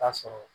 Taa sɔrɔ